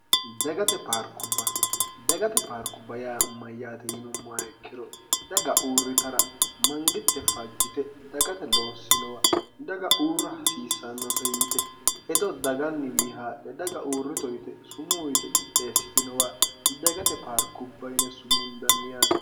ddagate paarkubbayaa mayyaate yinummayikkiro daga uurritara mangitte fajjite dagate loossinowa daga uurra hasiissannose yite hedo daganniwii haadhe daga uurrito yite sumuuyite qixdheessitinowa dagate paarkubba yine sumundanniyaate